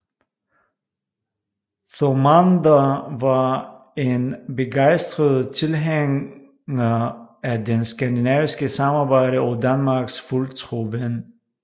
Thomander var en begejstret tilhænger af det skandinaviske samarbejde og Danmarks fuldtro ven